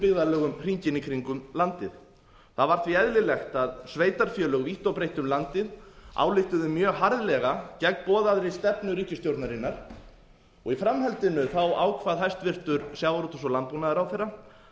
byggðarlögum hringinn í kringum landið það var því eðlilegt að sveitarfélög vítt og breitt um landið ályktuðu mjög harðlega gegn boðaðri stefnu ríkisstjórnarinnar og í framhaldinu ákvað hæstvirtum sjávarútvegs og landbúnaðarráðherra